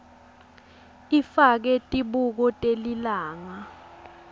ifake tibuko telilanga